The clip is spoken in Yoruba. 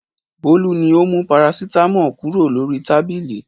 Bólú ni ó mú parasítámọ̀ kúrò lórí tábìlì.